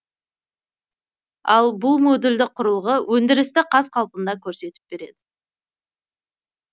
ал бұл модульді құрылғы өндірісті қаз қалпында көрсетіп береді